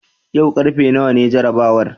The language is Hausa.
yau karfe nawa ne jarabawar?